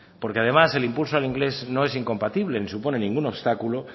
porque además el impulso al inglés no es incompatible ni supone ningún obstáculo